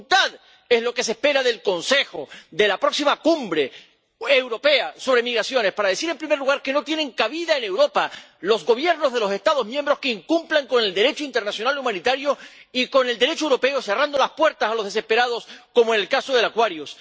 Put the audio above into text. Y voluntad en lo que se espera del Consejo, de la próxima Cumbre Europea sobre Migraciones, para decir, en primer lugar, que no tienen cabida en Europa los gobiernos de los Estados miembros que incumplan el Derecho internacional humanitario y el Derecho europeo cerrando las puertas a los desesperados como el caso del Aquarius.